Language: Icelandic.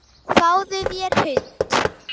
Fáðu þér hund.